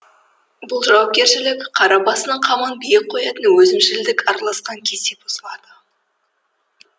бұл жауапкершілік қара басының қамын биік қоятын өзімшілдік араласқан кезде бұзылады